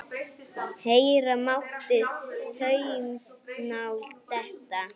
Heyra mátti saumnál detta.